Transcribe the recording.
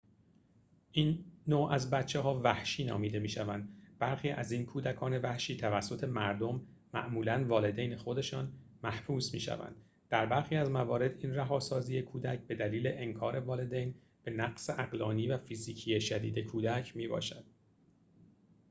این نوع از بچه‌ها «وحشی» نامیده می‌شوند. برخی از این کودکان وحشی توسط مردم معمولا والدین خودشان محبوس می‌شوند؛ در برخی از موارد این رهاسازی کودک بدلیل انکار والدین به نقص عقلانی و فیزیکی شدید کودک می‌باشد